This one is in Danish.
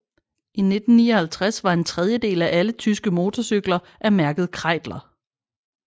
I 1959 var en tredjedel af alle tyske mortorcykler af mærket Kreidler